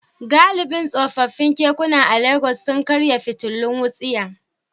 Galibin tsofaffin kekuna a Legas sun karya fitilun wutsiya.